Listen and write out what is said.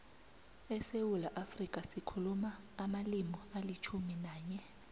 esewula afrika sikhuluma amalimi alitjhumi nanye